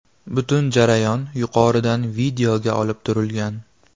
Butun jarayon yuqoridan videoga olib turilgan.